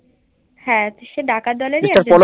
হ্যান সে ডাকাত দলেরই